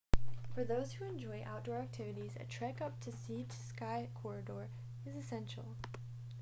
for those who enjoy outdoor activities a trek up the sea to sky corridor is essential